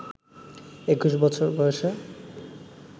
২১ বছর বয়সে